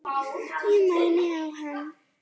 Ég mæni á hann.